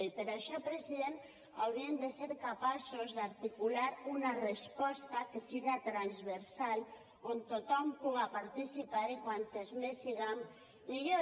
i per això president hauríem de ser capaços d’articular una resposta que siga transversal on tothom puga participar i quantes més siguem millor